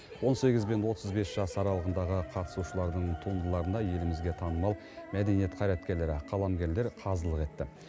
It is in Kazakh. он сегіз бен отыз бес жас аралығындағы қатысушылардың туындыларына елімізге танымал мәдениет қайраткерлері қаламгерлер қазылық етті